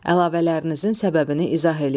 Əlavələrinizin səbəbini izah eləyin.